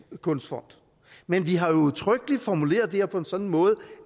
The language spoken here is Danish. kunstfond men vi har jo udtrykkeligt formuleret det her på en sådan måde